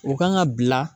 U kan ka bila